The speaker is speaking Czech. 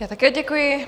Já také děkuji.